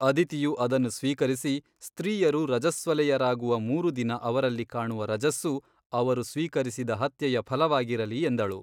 ಅದಿತಿಯು ಅದನ್ನು ಸ್ವೀಕರಿಸಿ ಸ್ತ್ರೀಯರು ರಜಸ್ವಲೆಯರಾಗುವ ಮೂರು ದಿನ ಅವರಲ್ಲಿ ಕಾಣುವ ರಜಸ್ಸು ಅವರು ಸ್ವೀಕರಿಸಿದ ಹತ್ಯೆಯ ಫಲವಾಗಿರಲಿ ಎಂದಳು.